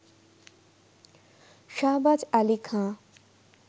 Shahbaz Ali Khan